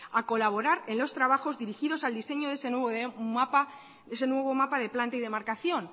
a colaborar en los trabajos dirigido al diseño ese nuevo mapa de planta y demarcación